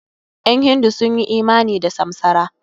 Ƴan hindu sun yi imani da samsara.